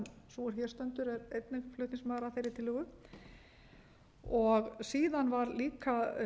sú er hér stendur er einnig flutningsmaður að þeirri tillögu síðan var líka